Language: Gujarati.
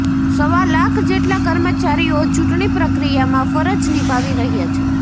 સવા લાખ જેટલા કર્મચારીઓ ચૂંટણી પ્રક્રિયામાં ફરજ નિભાવી રહ્યા છે